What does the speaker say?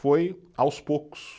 Foi aos poucos.